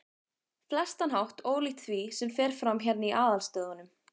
flestan hátt ólíkt því, sem fer fram hérna í aðalstöðvunum.